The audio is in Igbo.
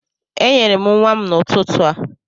Enyere m nwa m n'ụtụtụ a